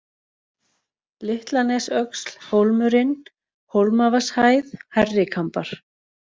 Litlanesöxl, Hólmurinn, Hólmavatnshæð, Hærrikambar